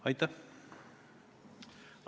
Aitäh!